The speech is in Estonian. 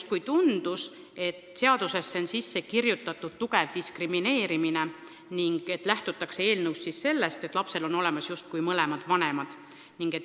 Talle tundus, et seadusesse on sisse kirjutatud tugev diskrimineerimine: lähtutakse sellest, et lapsel on olemas mõlemad vanemad.